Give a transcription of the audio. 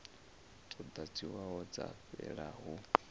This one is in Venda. dzo ḓadziwaho dza fhelela hu